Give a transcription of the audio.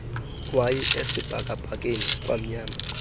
wayi esibhakabhakeni kwamnyama